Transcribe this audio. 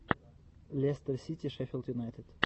лестер сити шеффилд юнайтед